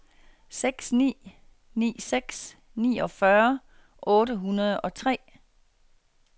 seks ni ni seks niogfyrre otte hundrede og tre